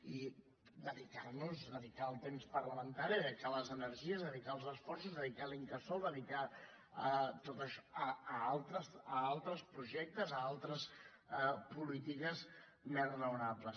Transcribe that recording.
i dedicar nos dedicar el temps parlamentari dedicar les energies dedicar els esforços dedicar l’incasòl dedicar tot això a altres projectes a altres polítiques més raonables